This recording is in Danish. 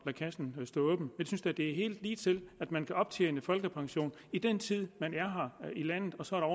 kassen stå åben jeg synes da det er helt ligetil at man kan optjene folkepension i den tid man er her i landet og så er